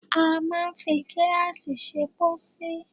A máa ń fi gíláàsì ṣe pósí.